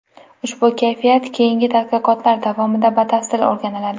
Ushbu kashfiyot keyingi tadqiqotlar davomida batafsil o‘rganiladi.